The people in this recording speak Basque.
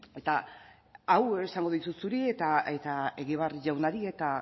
eta hau esango dizut zuri eta egibar jaunari eta